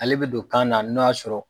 Ale bɛ don kan na n'o y'a sɔrɔ